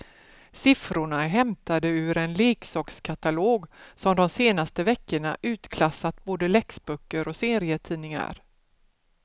Siffrorna är hämtade ur en leksakskatalog som de senaste veckorna utklassat både läxböcker och serietidningar.